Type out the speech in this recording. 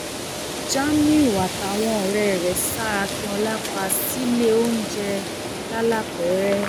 jamiu àtàwọn ọrẹ ẹ ṣa akinola pa sílé oúnjẹ lalápẹrẹ